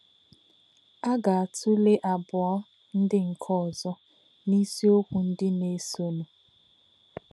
À gā̄-átụ̄lè̄ àbọ̀̄ụ̣ ndí̄ nké̄ ọ̀zọ́ n’ísí̄ọ̀kwū̄ ndí̄ nā̄-èsònụ̄.